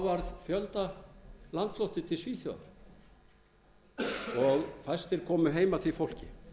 fullkomlega þá var fjöldalandflótti til svíþjóðar og fæstir komu heim af því fólki